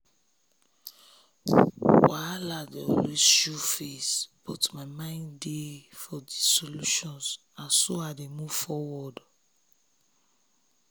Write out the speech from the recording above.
wahala dey always show face but my mind dey for solutions na so i dey move forward.